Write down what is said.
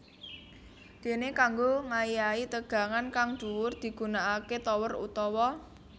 Dene kanggo ngayahi tegangan kang dhuwur digunakake tower utawa